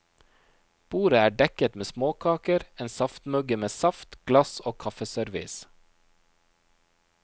Bordet er dekket med småkaker, en saftmugge med saft, glass og kaffeservise.